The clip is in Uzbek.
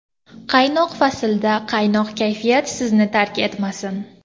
Qaynoq faslda quvnoq kayfiyat sizni tark etmasin.